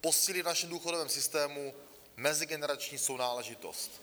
posílit v našem důchodovém systému mezigenerační sounáležitost.